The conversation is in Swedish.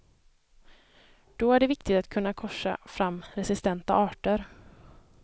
Då är det viktigt att kunna korsa fram resistenta arter.